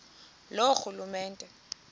loorhulumente